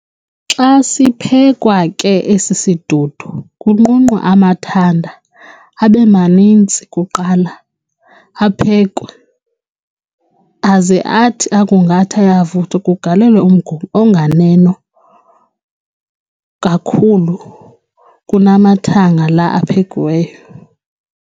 Xa siphekwa ke esi sidudu kunqunqwa amathanda abemaninzi kuqala aphekwe. aze athi akungathi ayavuthwa kugalelwe umgubo onganeno kakhulu kunamathanga laa aphekiweyo.